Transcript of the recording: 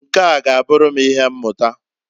Nkea g'aburu m ihe mmuta.